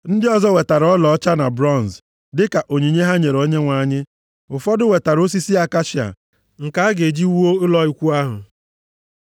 Ndị ọzọ wetara ọlaọcha na bronz, dịka onyinye ha nyere Onyenwe anyị, ụfọdụ wetara osisi akashia nke a ga-eji wuo ụlọ ikwu ahụ.